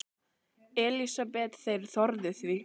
Elísabet: Þeir þorðu því?